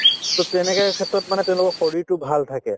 to তেনেকুৱা ক্ষেত্ৰত মানে তেওঁলোকৰ শৰীৰটো ভাল থাকে